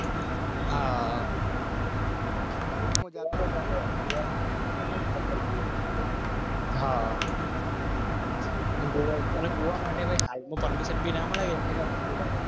હા હા હા હાગોવા માટે